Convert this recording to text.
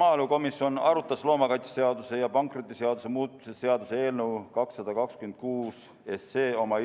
Maaelukomisjon arutas loomakaitseseaduse ja pankrotiseaduse muutmise seaduse eelnõu 226 oma